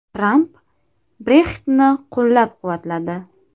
Tramp Brexit’ni qo‘llab-quvvatladi.